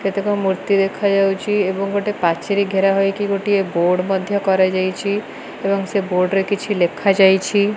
କେତେକ ମୂର୍ତ୍ତି ଦେଖା ଯାଉଛି ଏବଂ ଗୋଟେ ପାଚେରୀ ଘେରା ହୋଇକି ଗୋଟିଏ ବୋଡ଼ ମଧ୍ୟ କରାଯାଇଚି ଏବଂ ସେ ବୋର୍ଡ କିଛି ଲେଖା ଯାଇଚି।